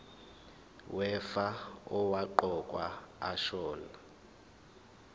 wefa owaqokwa ashona